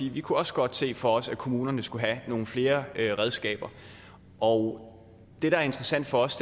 i vi kunne også godt se for os at kommunerne skulle have nogle flere redskaber og det der er interessant for os